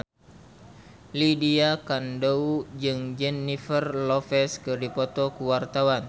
Lydia Kandou jeung Jennifer Lopez keur dipoto ku wartawan